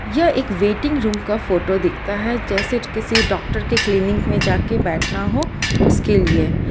यह एक waiting room का फोटो दिखाता है जैसे किसी डॉक्टर के क्लीनिक में जाके बैठना हो उसके लिए।